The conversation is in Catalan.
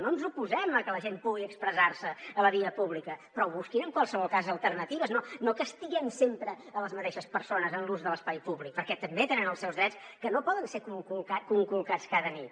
no ens oposem a que la gent pugui expressar se a la via pública però busquin en qualsevol cas alternatives no que estiguem sempre les mateixes persones en l’ús de l’espai públic perquè també tenen els seus drets que no poden ser conculcats cada nit